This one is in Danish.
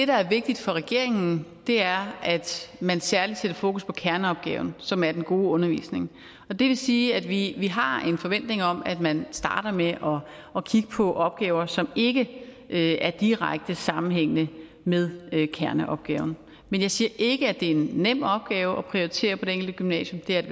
der er vigtigt for regeringen er at man særligt sætter fokus på kerneopgaven som er den gode undervisning det vil sige at vi vi har en forventning om at man starter med at kigge på opgaver som ikke er direkte sammenhængende med kerneopgaven men jeg siger ikke at det er en nem opgave at prioritere på det enkelte gymnasium